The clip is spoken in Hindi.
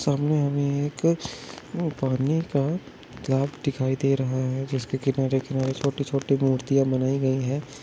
सामने हमे एक पानी का ग्लॉस दिखाई दे रहा है जिसके किनारे - किनारे छोटी - छोटी मूर्तियां बनाई गई है।